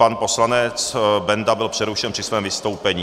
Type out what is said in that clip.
Pan poslanec Benda byl přerušen při svém vystoupení.